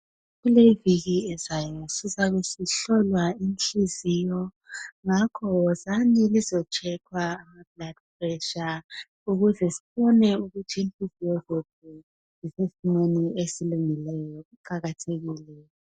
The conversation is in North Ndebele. Kuleyi iviki ezayo sizabe sihlolwa inhliziyo ngakho wozani lizo tshekhwa ama "blood pressure "ukuze sibone ukuthi inhliziyo zenu zisesimweni esilungileyo ,kuqakathekile.